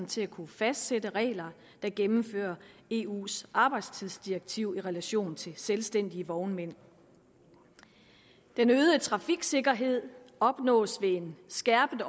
til at kunne fastsætte regler der gennemfører eus arbejdstidsdirektiv i relation til selvstændige vognmænd den øgede trafiksikkerhed opnås ved en skærpet